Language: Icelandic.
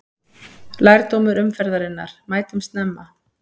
Lærdómur umferðarinnar: Mætum snemma!